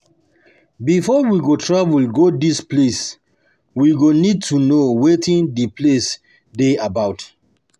Before we go travel go di place, we go need um to know wetin di place dey about um